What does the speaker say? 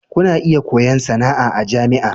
Kuna iya koyon sana'a a jami'a.